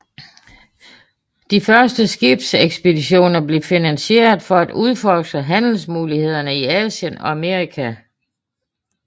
De første skibsekspeditioner blev finansieret for at udforske handelsmulighederne i Asien og Amerika